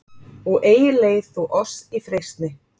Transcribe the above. og eigi leið þú oss í freistni